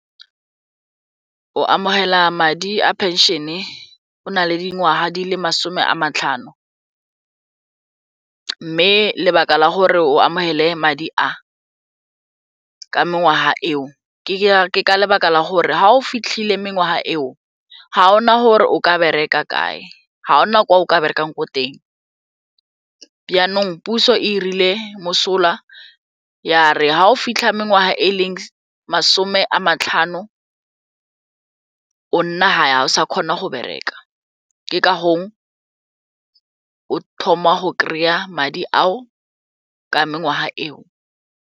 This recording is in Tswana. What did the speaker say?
O amogela madi a pension o na le dingwaga di le masome a matlhano mme lebaka la gore o amogele madi a ka mengwaga eo ke ka lebaka la gore ga o fitlhile mengwaga eo ga ona gore o ka bereka kae, ga ona kwa o ka berekang ko teng puso e irile mosola ya re ga o fitlha mengwaga e leng masome a matlhano o nna gae ga o sa kgona go bereka ke kafo o thoma go kry-a madi ao ka mengwaga eo.